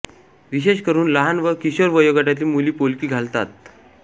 विशेषकरून लहान व किशोर वयोगटातील मुली पोलकी घालतात